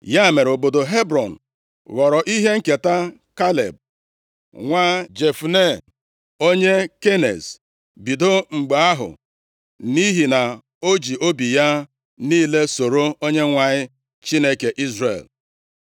Ya mere, obodo Hebrọn ghọrọ ihe nketa Kaleb nwa Jefune onye Keniz bido mgbe ahụ, nʼihi na o ji obi ya niile soro Onyenwe anyị, Chineke Izrel.